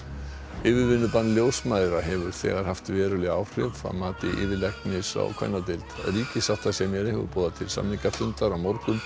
yfirvinnubann ljósmæðra hefur þegar haft veruleg áhrif að mati yfirlæknis á kvennadeild ríkissáttasemjari hefur boðað til samningafundar á morgun